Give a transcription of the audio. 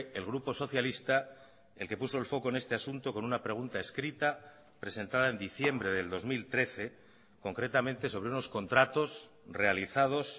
el grupo socialista el que puso el foco en este asunto con una pregunta escrita presentada en diciembre del dos mil trece concretamente sobre unos contratos realizados